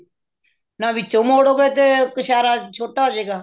ਜੇ ਵਿੱਚੋਂ ਮੋੜੋਗੇ ਤਾਂ ਕ੍ਛੇਰਾ ਛੋਟਾ ਹੋਜੇਗਾ